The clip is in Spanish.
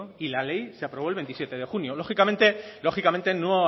y la ley se aprobó el veintisiete de junio lógicamente no